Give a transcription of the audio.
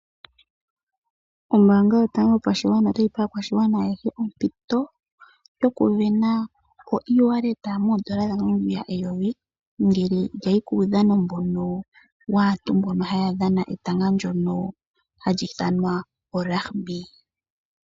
Ombanga yotango yopashigwana otayi pe aakwashigwana ayeshe ompito yokuvena oiiwaleta moondola dhaNamibia eyovi ngele yayi kuudhano waantu mbono haya dhana etanga ndyono ha li ithanwa olagibi.